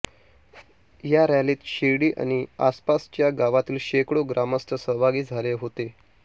या रॅलीत शिर्डी आणि आसपासच्या गावांतील शेकडो ग्रामस्थ सहभागी झाले होते